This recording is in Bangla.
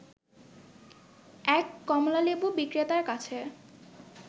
এক কমলালেবু বিক্রেতার কাছে